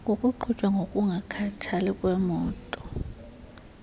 kukuqhutywa ngokungakhathali kwemoto